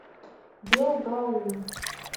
белгаум